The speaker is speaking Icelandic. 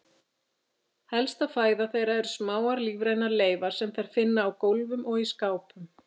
Helsta fæða þeirra eru smáar lífrænar leifar sem þær finna á gólfum og í skápum.